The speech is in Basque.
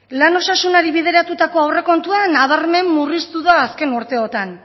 lan osasunari bideratutako aurrekontua nabarmen murriztu da azken urteotan